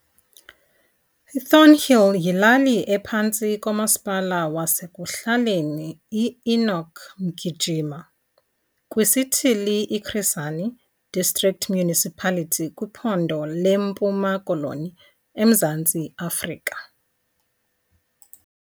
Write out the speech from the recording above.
Thornhill yilali ephantsi komaspala wasek'hlaleni iEnoch Mgijima kwisithili iChris Hani District Municipality kwiphondo leMpuma Koloni eMzantsi Afrika.